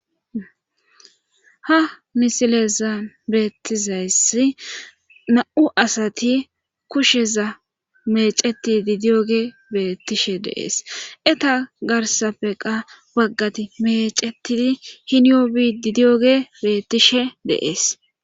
Ha misileza beettizayssi na7u asati kusheza meceti didiyoge beettishe deees eta garsappeqa baggati mecetii hiniyobi didiyoge beettishe de7ees.